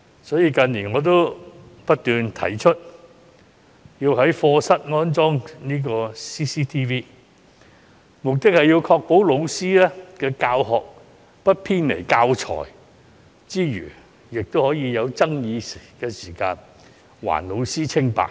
所以，我近年不斷提出要在課室安裝 CCTV， 目的是要確保老師的教學不偏離教材之餘，在有爭議時更可以還老師清白。